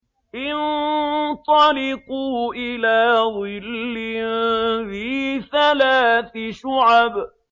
انطَلِقُوا إِلَىٰ ظِلٍّ ذِي ثَلَاثِ شُعَبٍ